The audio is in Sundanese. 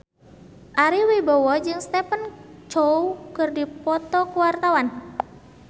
Ari Wibowo jeung Stephen Chow keur dipoto ku wartawan